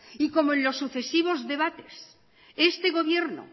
y como en los sucesivos debates este gobierno